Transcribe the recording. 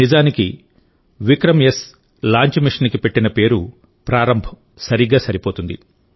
నిజానికి విక్రమ్ఎస్ లాంచ్ మిషన్కి పెట్టిన పేరు ప్రారంభ్ సరిగ్గా సరిపోతుంది